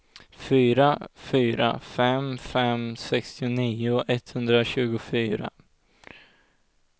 fyra fyra fem fem sextionio etthundratjugofyra